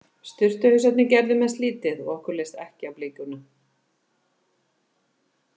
Sturtuhausarnir gerðu mest lítið og okkur leist ekki á blikuna.